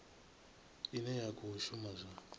ine ya khou shuma zwa